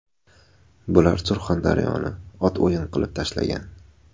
Bular Surxondaryoni ot o‘yin qilib tashlagan.